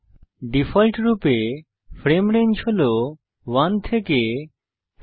ডিফল্টরূপে frame range হল 1 থেকে 250